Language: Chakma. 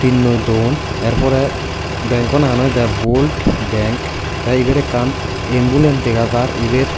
tinnoi don yer porey benkaw nangan oyedey bolt bank tey ebet ekkan embulane dega jar ibet.